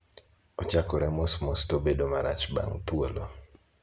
Ochakore mos mos to obet marach bang' thuolo.